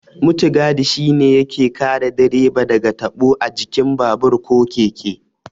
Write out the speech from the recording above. Mutigadi shi ne yake kare direba daga tabo a jikin babur ko keke.